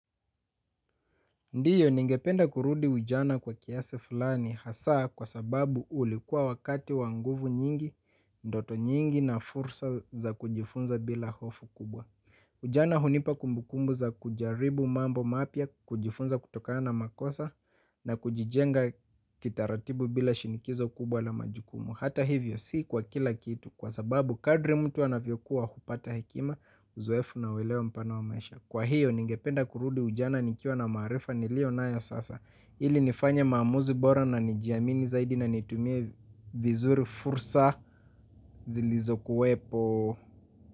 Ndio, ningependa kurudi ujana kwa kiasi fulani hasa kwa sababu ulikuwa wakati wa nguvu nyingi, ndoto nyingi na fursa za kujifunza bila hofu kubwa. Ujana hunipa kumbukumbu za kujaribu mambo mapya kujifunza kutokana makosa na kujijenga kitaratibu bila shinikizo kubwa la majukumu. Hata hivyo si kwa kila kitu kwa sababu kadri mtu anavyokua hupata hekima uzoefu na huelewa mpana wa maisha. Kwa hiyo ningependa kurudi ujana nikiwa na maarifa niliyo nayo sasa ili nifanye maamuzi bora na nijiamini zaidi na nitumie vizuri fursa zilizokuwepo.